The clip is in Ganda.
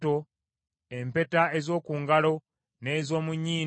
empeta ez’oku ngalo n’ez’omu nnyindo,